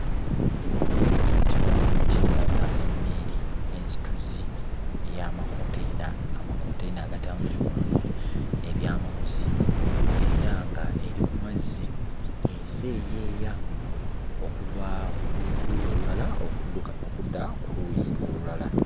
Ekifaananyi kino kindaga emmeeri ensituzi y'amakonteyina, amakonteyina agatambulirwamu ebyamaguzi era nga eri ku mazzi eseeyeeya okuva ku luuyi olulala okudda ku luuyi olulala.